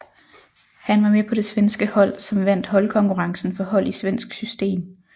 Han var med på det svenske hold som vandt holdkonkurrencen for hold i svensk system